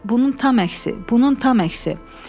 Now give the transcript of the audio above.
Bunun tam əksi, bunun tam əksi.